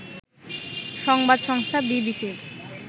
সংবাদ সংস্থা বিবিসির